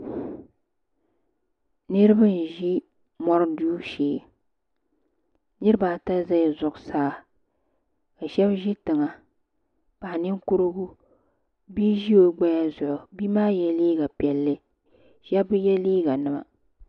Niriba n ʒi mori duu shee niriba ata zala zuɣusaa ka sheba ʒi tiŋa paɣa Ninkurigu bia ʒi o gbaya zuɣu bia maa ye liiga piɛlli sheba bi ye liiga nima.